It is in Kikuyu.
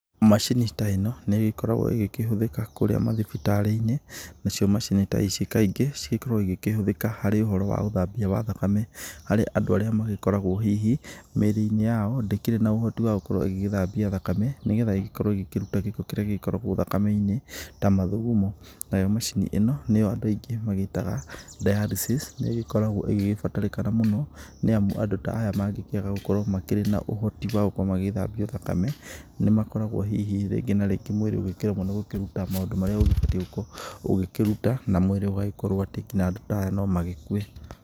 Macini ta ĩno nĩ igĩkoragwo ĩgĩkĩkĩhũthĩka kũrĩa mathibitarĩ-inĩ. Nacio macini ta ici kaingĩ cigĩkoragwo ikĩhũthĩka harĩ ũhoro wa uthambia wa thakame, harĩ andũ arĩa magĩkoragwo hihi mĩrĩ-inĩ yao ndĩkĩrĩ na ũhoti wa gũkorwo ĩgĩgĩthambia thakame, nĩ getha ĩgĩkorwo ĩgĩkĩruta gĩko kĩrĩa gĩgĩkoragwo thakame-inĩ ta mathugumo. Nayo macini ĩno nĩyo andũ aingĩ magĩtaga dialysis. Nĩĩgĩkoragwo ĩgĩgĩbatarĩka mũno, nĩamu andũ ta aya mangĩkĩaga gũkorwo makĩrĩ na ũhoti wa gũkorwo magĩgĩthambio thakame, nĩmakoragwo hihi rĩngĩ na rĩngĩ mwĩrĩ ũgĩkĩremwo nĩ gũkĩruta maũndũ maria ubatie gũkorwo ugĩkĩruta, na mwĩrĩ ũgagĩkorwo atĩ nginya andu ta aya no magĩkue.